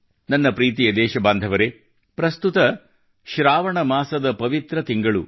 ನನ್ನ ಪ್ರೀತಿಯ ದೇಶಬಾಂಧವರೆ ಪ್ರಸ್ತುತ ಶ್ರಾವಣ ಮಾಸದ ಪವಿತ್ರ ತಿಂಗಳು